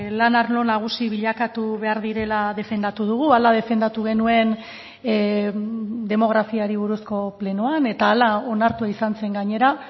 lan arlo nagusi bilakatu behar direla defendatu dugu hala defendatu genuen demografiari buruzko plenoan eta hala onartua izan zen gainera